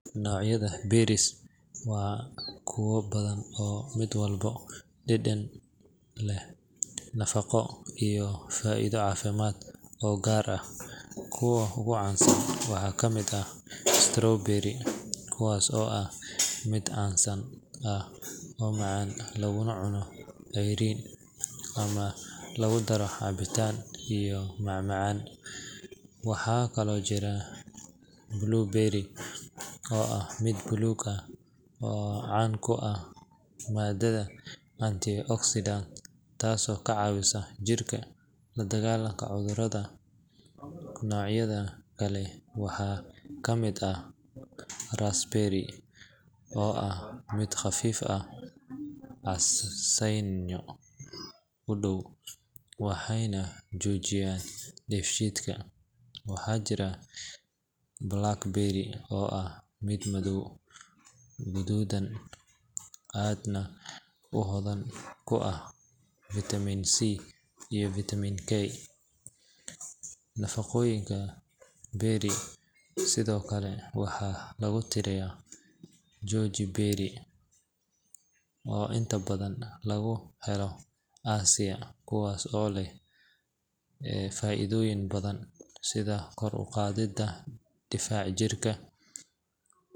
Noocyada berries waa kuwo badan oo mid walba leh dhadhan, nafaqo, iyo faa’iido caafimaad oo gaar ah. Kuwa ugu caansan waxaa ka mid ah strawberries, kuwaas oo ah mid casaan ah oo macaan laguna cuno ceyriin ama lagu daro cabitaan iyo macmacaan. Waxaa kaloo jira blueberries oo ah mid buluug ah, oo caan ku ah maadada antioxidants taasoo ka caawisa jirka la dagaallanka cudurrada. Noocyada kale waxaa ka mid ah raspberries oo ah mid khafiif ah, casaanyo u dhow, waxayna xoojiyaan dheefshiidka. Waxaa jira blackberries oo ah mid madow guduudan, aadna u hodan ku ah faytamiin C iyo fiitamiin K. Noocyada berries sidoo kale waxaa lagu tiriyaa goji berries oo inta badan laga helo Aasiya, kuwaas oo leh faa’iidooyin badan sida kor u qaadidda difaaca jirka.